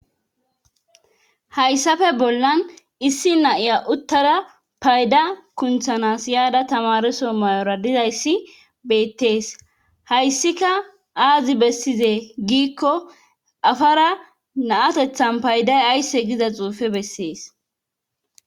Hayssafe bollan issi na7iya uttara payda kunthanas yaada tamareso mayora dizayssi beettees hayssika aazi bessizee giikko afara na7atethan payday aysse giza xuufe bessees.